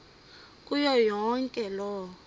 kuyo yonke loo